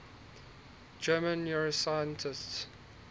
german neuroscientists